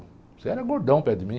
Você era gordão perto de mim.